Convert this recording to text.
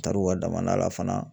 Taar'u ka damanda la fana